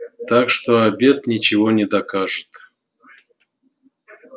так что обед ничего не докажет